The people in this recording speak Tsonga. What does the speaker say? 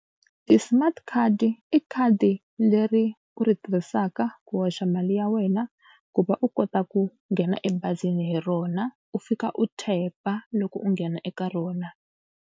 Ti-smart card i khadi leri u ri tirhisaka ku hoxa mali ya wena ku va u kota ku nghena ebazini hi rona u fika u tap loko u nghena eka rona.